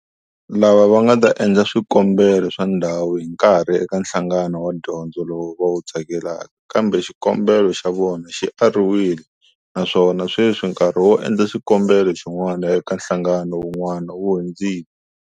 Lava va nga ta endla swikombelo swa ndhawu hi nkarhi eka nhlangano wa dyondzo lowu va wu tsakelaka kambe xikombelo xa vona xi ariwile naswona sweswi nkarhi wo endla xikombelo xin'wana eka nhlangano wun'wana wu hundzile.